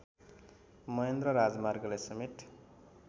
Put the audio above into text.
महेन्द्र राजमार्गले समेत